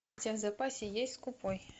у тебя в запасе есть скупой